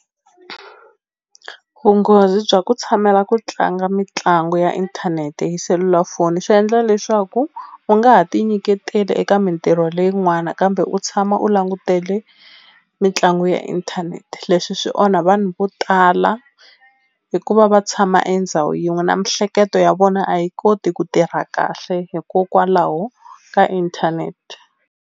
Vunghozi bya ku tshamela ku tlanga mitlangu ya inthanete hi selulafoni swi endla leswaku u nga ha ti nyiketeli eka mintirho leyin'wana kambe u tshama u langutele mitlangu ya inthanete leswi swi onha vanhu vo tala hikuva va tshama endhawu yin'we na mihleketo ya vona a yi koti ku tirha kahle hikokwalaho ka inthanete.